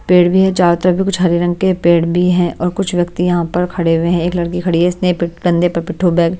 पेड़ भी है चारों तरफ भी कुछ हरे रंग के पेड़ भी हैं और कुछ व्यक्ति यहाँ पर खड़े हुए हैं एक लड़की खड़ी है इसने कंधे पर पिठो बैग --